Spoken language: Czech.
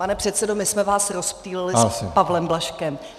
Pane předsedo, my jsme vás rozptýlili s Pavlem Blažkem.